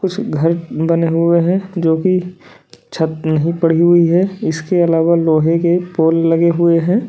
कुछ घर बने हुए हैं जोकी छत नहीं पड़ी हुई है इसके अलावा लोहे के पोल लगे हुए हैं।